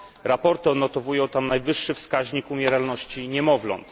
Raporty odnotowują tam najwyższy wskaźnik umieralności niemowląt.